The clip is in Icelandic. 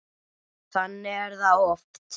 Þannig er það oft.